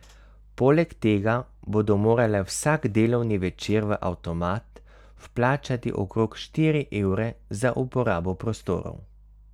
Poleg tega bodo morale vsak delovni večer v avtomat vplačati okrog štiri evre za uporabo prostorov.